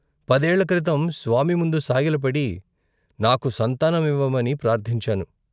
పదేళ్ళ క్రితం స్వామి ముందు సాగిలపడి నాకు సంతానం ఇవ్వమని ప్రార్ధించాను.